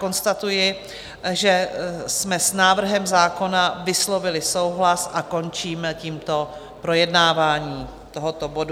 Konstatuji, že jsme s návrhem zákona vyslovili souhlas, a končím tímto projednávání tohoto bodu.